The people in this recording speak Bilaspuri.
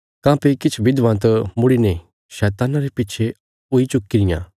काँह्भई किछ विधवां त मुड़ीने शैतान्ना रे पिच्छे हुई चुक्की रियां